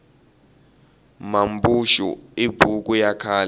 mambuxu i buku ya khale